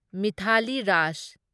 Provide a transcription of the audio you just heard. Mithali Raj